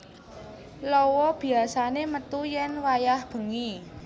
Lawa biyasané metu yén wayah bengi